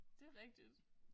Det rigtigt